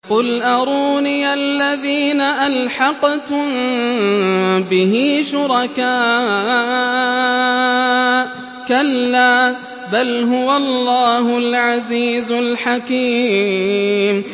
قُلْ أَرُونِيَ الَّذِينَ أَلْحَقْتُم بِهِ شُرَكَاءَ ۖ كَلَّا ۚ بَلْ هُوَ اللَّهُ الْعَزِيزُ الْحَكِيمُ